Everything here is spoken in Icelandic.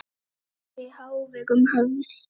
Tónlist var í hávegum höfð.